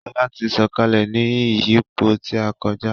Shola tí Sọkalẹ ní ìyípo tí a koja.